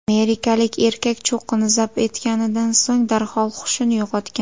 Amerikalik erkak cho‘qqini zabt etganidan so‘ng darhol hushini yo‘qotgan.